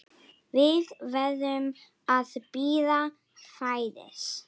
Við verðum að bíða færis.